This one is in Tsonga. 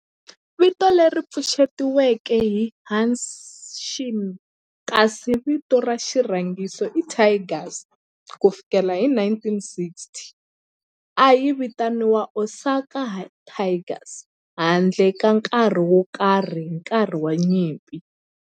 Vito leri pfuxetiweke i"Hanshin" kasi vito ra xirhangiso i"Tigers". Ku fikela hi 1960, a yi vitaniwa Osaka Tigers handle ka nkarhi wo karhi hi nkarhi wa nyimpi.